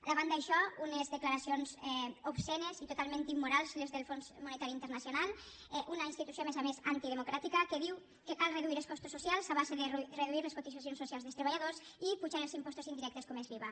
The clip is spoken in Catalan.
davant d’això unes declaracions obscenes i totalment immorals les del fons monetari internacional una institució a més a més antidemocràtica que diu que cal reduir els costos socials a base de reduir les cotitzacions socials dels treballadors i apujar els impostos indirectes com és l’iva